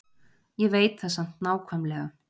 Ég veit það samt nákvæmlega.